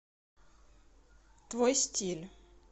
твой стиль